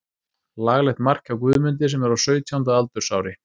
Laglegt mark hjá Guðmundi sem er á sautjánda aldursári.